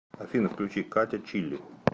афина включи катя чилли